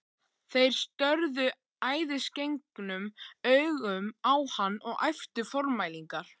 Þeir störðu æðisgengnum augum á hann og æptu formælingar.